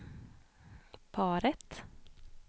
paret